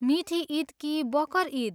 मिठी इद कि बकर इद?